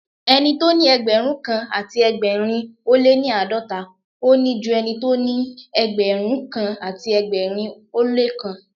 Ẹni tóní Ẹgbẹ̀rúnkan àti ẹgbẹ̀rin ó lé ní àádọ́ta, òní ju ẹnitó ní Ẹgbẹ̀rún kan àti ẹgbẹ̀rin ó lóókan.